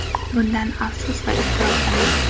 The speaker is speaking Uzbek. Bundan afsus va iztirobdaman.